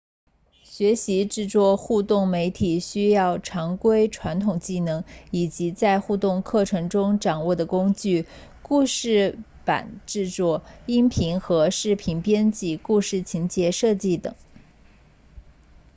学习制作互动媒体需要常规传统技能以及在互动课程中掌握的工具故事板制作音频和视频编辑故事情节设计等